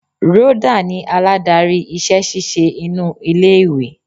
Rhoda ni aládarí iṣẹ́ ṣíṣe inú ilé ìwé.